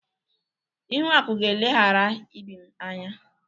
Ihuaku ga-eleghara Ibim anya.